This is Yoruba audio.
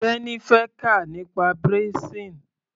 Teni fẹ́ kà nípa braising.